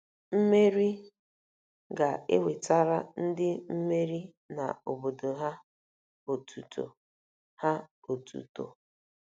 Mmeri ga-ewetara ndị mmeri na obodo ha otuto. ha otuto.